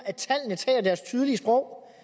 at tallene taler deres tydelige sprog